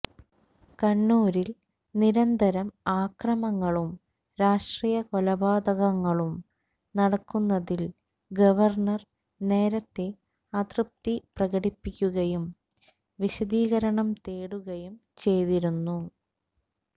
കണ്ണൂരില് നിരന്തരം അക്രമങ്ങളും രാഷ്ട്രീയ കൊലപാതകങ്ങളും നടക്കുന്നതില് ഗവര്ണ്ണര് നേരത്തെ അതൃപ്തി പ്രകടിപ്പിക്കുകയും വിശദീകരണം തേടുകയും ചെയ്തിരുന്നു